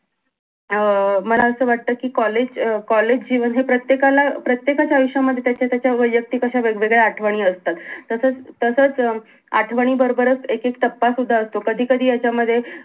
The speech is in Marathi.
अं मला असं वाटत कि कॉलेज अं कॉलेज जी म्हणजे प्रत्येकाला अं प्रत्येकाच्या आयुष्य मध्ये त्याच्या त्याच्या वयक्तिक अश्या वेगवेगळ्या आठवणी असतात तसाच तसाच अं आठवणी बरोबरच एक एक टप्पा सुद्धा असतो कधी कधी यांच्यामध्ये